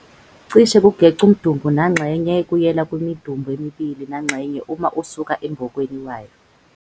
cishe ukugec' umdumbu nangxenye, 3, 2, kuyela kwimidumbu emibili nangxenye uma usuka embokweni wayo.